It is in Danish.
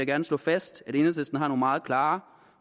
gerne slå fast at enhedslisten har nogle meget klare